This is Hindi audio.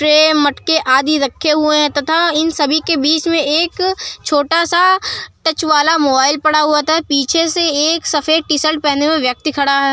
ट्रे मटके आदि रखे हुए हैं तथा इन सभी के बीच में एक छोटा सा टच वाला मोबाइल पड़ा हुआ होता है। पीछे से एक सफेद टी-शर्ट पहने हुए व्यक्ति खड़ा हुआ है।